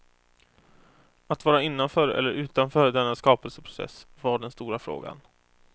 Att vara innanför eller utanför denna skapelseprocess var den stora frågan.